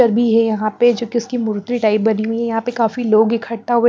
पर भी है यहां पे जो कि उसकी मूर्ति टाइप बनी हुई है यहां पे काफी लोग इकट्ठा हुए--